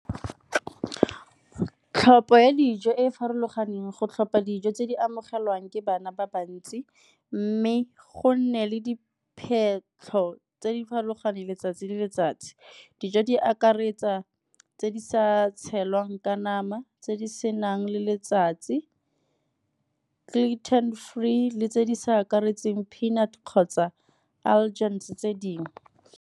Tlhopho ya dijo e e farologaneng, go tlhopa dijo tse di amogelwang ke bana ba bantsi mme go nne le tse di farologaneng letsatsi le letsatsi. Dijo di akaretsa tse di sa tshelwang ka nama tse di senang le letsatsi, gluten free le tse di sa akaretseng peanut kgotsa allergens tse dingwe.